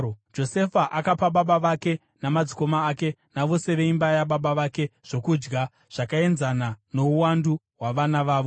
Josefa akapa baba vake namadzikoma ake navose veimba yababa vake zvokudya, zvakaenzana nouwandu hwavana vavo.